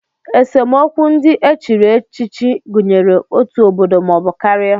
Esemokwu ndị e chiri echichi gụnyere otu obodo maọbụ karịa